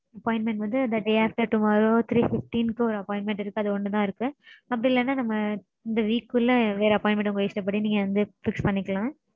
appointment வந்து the day after tomorrow three fifteen க்கு ஒரு appointment இருக்கு. அது ஒன்னுதா இருக்கு. அப்படி இல்லனா நம்ம இந்த week குள்ள வேற appointment உங்க இஷ்டப்படி நீங்க fix பண்ணிக்கலாம்.